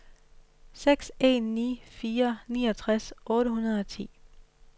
seks en ni fire niogtres otte hundrede og ti